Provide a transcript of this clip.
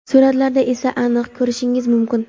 Suratlarda esa aniq ko‘rishingiz mumkin..